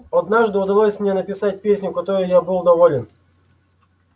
однажды удалось мне написать песенку которой был я доволен